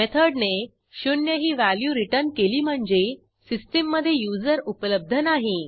मेथडने 0 ही value return केली म्हणजे सिस्टीममधे युजर उपलब्ध नाही